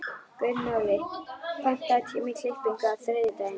Gunnóli, pantaðu tíma í klippingu á þriðjudaginn.